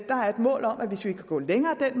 mål om at hvis vi kan gå længere ad